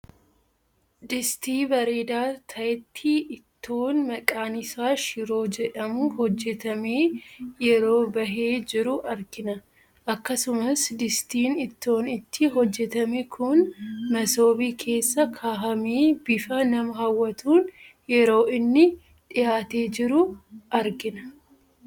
Distii bareedaa tahetti ittoon maqaan isaa shiroo jedhamu hojjetamee yeroo bahee jiru argina. Akkasumas distiin ittoon itti hojjetame kun masoobii keessa kahamee bifa nama hawwatuun yeroo inni dhiyaatee jiru argina.